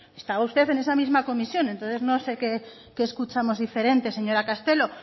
estaba usted también en esa misma comisión entonces no sé qué escuchamos diferente señora castelo